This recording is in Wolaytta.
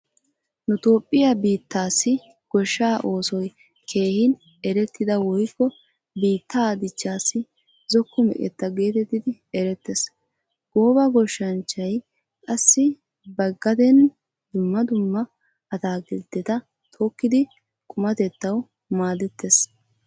Nu toophphiya biittaassi goshshaa oosay keehin erettida woykko biittaa dichchaassi zokko meqetta geetettidi erettees. Gooba goshshanchchayi qassi ba gadeeni dumma dumma ataakiltteta tokkidi qumatettawu maadettees.